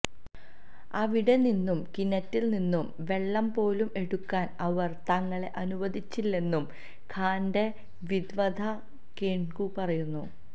അവിടെ നിന്നും കിണറ്റില് നിന്നും വെള്ളം പോലും എടുക്കാന് അവര് തങ്ങളെ അനുവദിച്ചില്ലെന്നും ഖാന്റെ വിധവ കേന്കു പറയുന്നു